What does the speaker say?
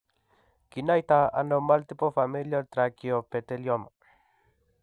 Kinaitano multiple familial trichoepithelioma?